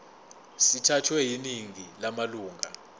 sithathwe yiningi lamalunga